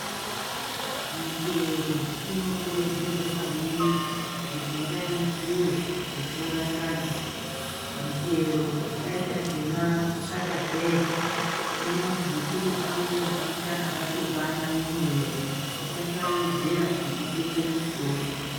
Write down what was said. Michero inokurudzirwe maningi kuti ngaindyiwe kupfuura sadza michero yakaita semakatapeya inozwi inopa mafuta akatokwana mumwiri tisasawedzera ekutenge muchitoro.